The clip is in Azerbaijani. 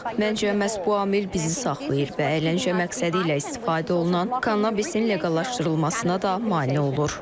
Məncə, məhz bu amil bizi saxlayır və əyləncə məqsədilə istifadə olunan kannabisin leqallaşdırılmasına da mane olur.